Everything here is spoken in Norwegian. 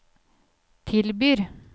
tilbyr